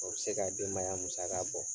O bɛ se ka denbaya musaka bɔ.